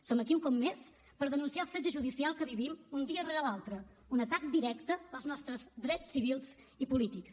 som aquí un cop més per denunciar el setge judicial que vivim un dia rere l’altre un atac directe als nostres drets civils i polítics